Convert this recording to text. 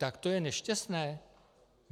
Tak to je nešťastné?